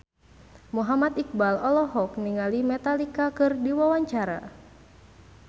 Muhammad Iqbal olohok ningali Metallica keur diwawancara